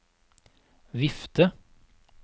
vifte